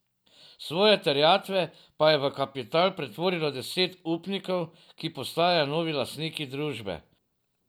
Svoje terjatve pa je v kapital pretvorilo deset upnikov, ki postajajo novi lastniki družbe.